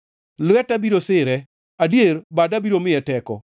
Lweta biro sire, adier, bada biro miye teko.